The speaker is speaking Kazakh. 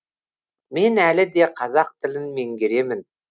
мен әлі де қазақ тілін меңгеремін